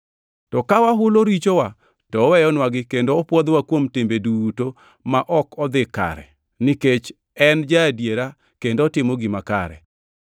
To ka wahulo richowa, to oweyonwagi kendo opwodhowa kuom timbe duto ma ok odhi kare nikech en Ja-adiera kendo otimo gima kare.